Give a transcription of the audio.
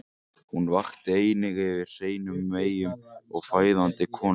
Hún vakti einnig yfir hreinum meyjum og fæðandi konum.